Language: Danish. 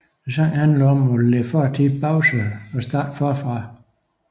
Sangen handler om at lægge fortiden bag sig og starte forfra